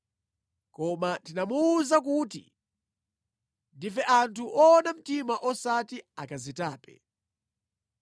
Koma tinamuwuza kuti, ‘Ndife anthu woona mtima osati akazitape.